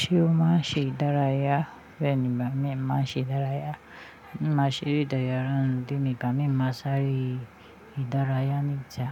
Ṣé o ma ṣe ìdárayá? Bẹ́ni bámi, máa ṣe dárayá. Máa ṣeré ìdárayá, and ìgbà mìí, máa sáré ìdárayá ní ìta.